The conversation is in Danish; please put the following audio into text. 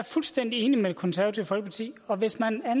fuldstændig enig med det konservative folkeparti og hvis man